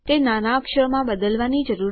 હું તમને આનો પ્રયાસ કરવા માટે પ્રોત્સાહિત કરું છું